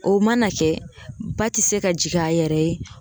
O mana kɛ ba te se ka jigin a yɛrɛ ye.